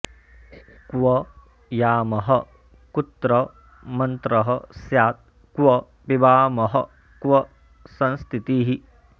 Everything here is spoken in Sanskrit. क्व यामः कुत्र मन्त्रः स्यात् क्व पिबामः क्व संस्थितिः